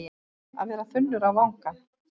Að vera þunnur á vangann